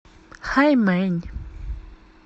хаймэнь